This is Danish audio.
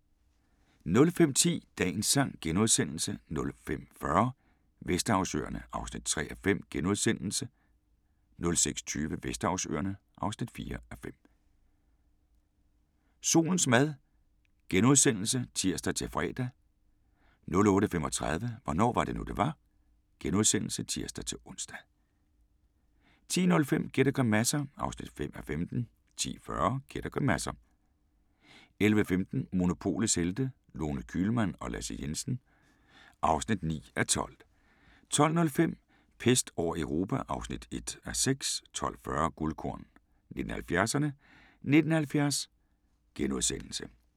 05:10: Dagens sang * 05:40: Vesterhavsøerne (3:5)* 06:20: Vesterhavsøerne (4:5) 07:00: Solens mad *(tir-fre) 08:35: Hvornår var det nu, det var? *(tir-ons) 10:05: Gæt og grimasser (5:15) 10:40: Gæt og grimasser 11:15: Monopolets Helte – Lone Kühlmann og Lasse Jensen (9:12) 12:05: Pest over Europa (1:6) 12:40: Guldkorn 1970'erne: 1970 *